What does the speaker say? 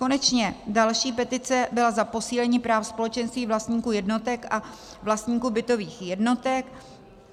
Konečně další petice byla za posílení práv společenství vlastníků jednotek a vlastníků bytových jednotek.